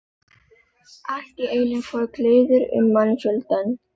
Allt í einu fór kliður um mannfjöldann.